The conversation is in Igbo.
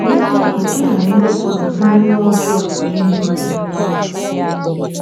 N’eziokwu, e nwere mgbe ụfọdụ ndị mmụọ ọjọọ na - emere ndị mmadụ ihe ọma.